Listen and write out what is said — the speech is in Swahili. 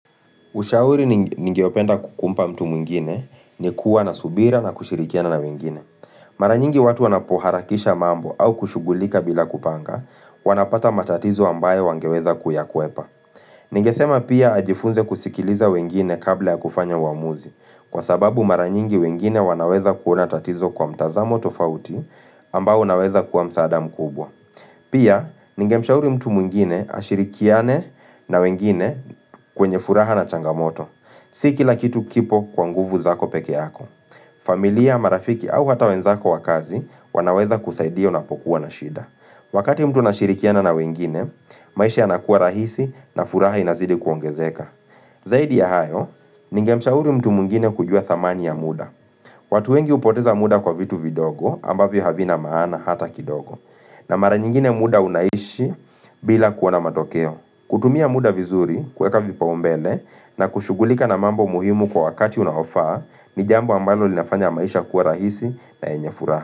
Ushauri ningeopenda kumpa mtu mwingine ni kuwa na subira na kushirikiana na wengine. Mara nyingi watu wanapoharakisha mambo au kushugulika bila kupanga, wanapata matatizo ambayo wangeweza kuyakwepa. Ningesema pia ajifunze kusikiliza wengine kabla ya kufanya uamuzi kwa sababu mara nyingi wengine wanaweza kuona tatizo kwa mtazamo tofauti ambao unaweza kuwa msaada mkubwa. Pia, ningemshauri mtu mwingine ashirikiane na wengine kwenye furaha na changamoto. Si kila kitu kipo kwa nguvu zako peke yako. Familia, marafiki au hata wenzako wa kazi wanaweza kusaidia unapokuwa na shida. Wakati mtu anashirikiana na wengine, maisha yanakuwa rahisi na furaha inazidi kuongezeka. Zaidi ya hayo, ningemshauri mtu mwingine kujua thamani ya muda. Watu wengi hupoteza muda kwa vitu vidogo ambavyo havina maana hata kidogo. Na mara nyingine muda unaishi bila kuona matokeo. Kutumia muda vizuri kueka vipaumbele na kushugulika na mambo muhimu kwa wakati unahofaa ni jambu ambalo linafanya maisha kuwa rahisi na enye furaha.